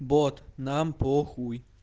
бот нам похуй